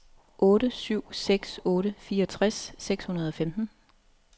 otte syv seks otte fireogtres seks hundrede og femten